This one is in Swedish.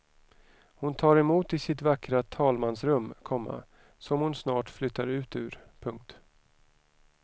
Hon tar emot i sitt vackra talmansrum, komma som hon snart flyttar ut ur. punkt